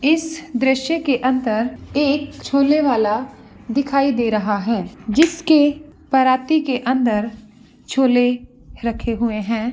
इस दृश्य के अंदर एक छोले वाला दिखाई दे रहा है जिसके पराती के अंदर छोले रखे हुए है।